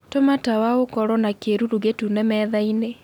tuma tawa ũkorwo na kiiruru gitune methaĩnĩ